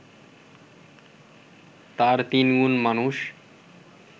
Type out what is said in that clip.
তার তিনগুণ মানুষ